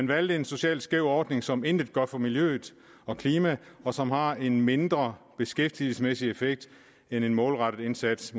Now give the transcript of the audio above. valgt en socialt skæv ordning som intet gør for miljøet og klimaet og som har en mindre beskæftigelsesmæssig effekt end en målrettet indsats